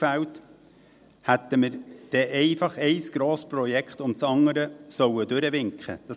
Hätten wir denn einfach ein Grossprojekt nach dem anderen durchwinken sollen?